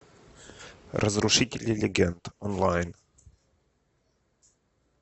разрушители легенд онлайн